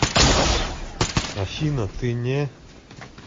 афина ты не